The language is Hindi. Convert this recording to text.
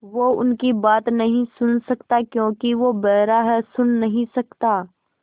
वो उनकी बात नहीं सुन सकता क्योंकि वो बेहरा है सुन नहीं सकता